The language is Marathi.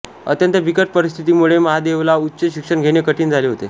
अत्यंत बिकट परिस्थितीमुळे महादेवला उच्च शिक्षण घेणे कठीण झाले होते